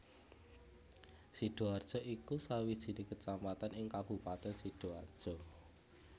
Sidoarjo iku sawijine kecamatan ing Kabupaten Sidoarjo